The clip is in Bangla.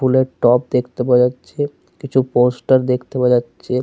ফুলের টব দেখতে পাওয়া যাচ্ছে। কিছু পোস্টার দেখতে পাওয়া যাচ্ছে।